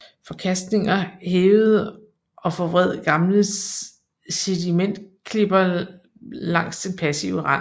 Forkastninger hævede og forvred gamle sedimentklipper langs den passive rand